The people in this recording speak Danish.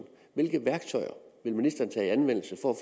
hvilke værktøjer vil ministeren tage i anvendelse for